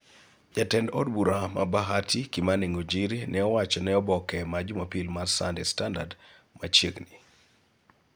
Jatend od bura mar Bahati, Kimani Ngunjiri, ne owacho ne oboke ma Jumapil mar Sunday Standard machiegni.